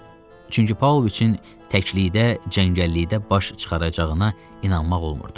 Çünki Paulviçin təklikdə, cəngəllikdə baş çıxaracağına inanmaq olmurdu.